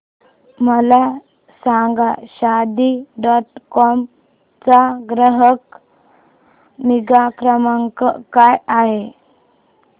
मला सांगा Shaadi dot com चा ग्राहक निगा क्रमांक काय आहे